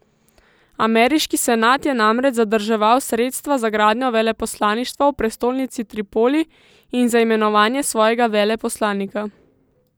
Ameriški senat je namreč zadrževal sredstva za gradnjo veleposlaništva v prestolnici Tripoli in za imenovanje svojega veleposlanika.